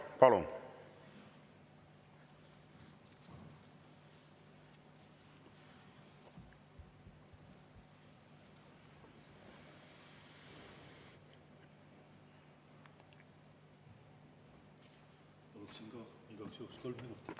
Palun!